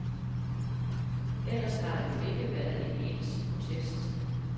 Ellers har der jo ikke været en eneste protest.